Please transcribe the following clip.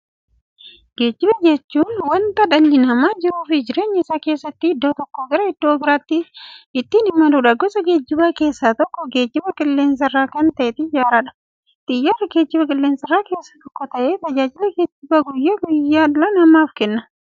Geejjiba jechuun wanta dhalli namaa jiruuf jireenya isaa keessatti iddoo tokkoo gara iddoo birootti ittiin imaluudha. Gosa geejjibaa keessaa tokko geejjiba qilleensarraa kan ta'e Xiyyaaradha. Xiyyaarri geejjibaa qilleensarraa keessaa tokko ta'ee, tajaajila geejjibaa guyyaa guyyaan dhala namaaf kenna.